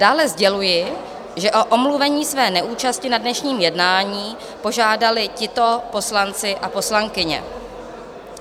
Dále sděluji, že o omluvení své neúčasti na dnešním jednání požádali tito poslanci a poslankyně.